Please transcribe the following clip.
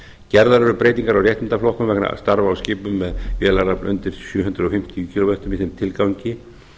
gerðar eru breytingar ár réttindaflokkum vegna starfa á skipum með vélarafl undir sjö hundruð fimmtíu kílóvatta í þeim tilgangi